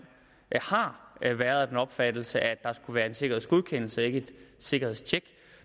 har har været af den opfattelse at der skulle være en sikkerhedsgodkendelse og ikke et sikkerhedstjek